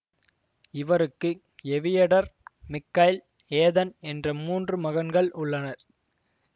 இவருக்கு Eviatar Mikhail Ethan என்ற மூன்று மகன்கள் உள்ளனர்